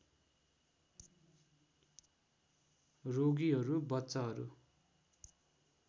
रोगीहरू बच्चाहरू